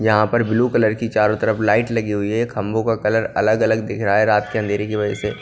यहाँ पर blue colour की चारों तरफ लाइट लगी हुई है खम्भों का कलर अलग-अलग दिख रहा है रात के अंधेरे की वजह से।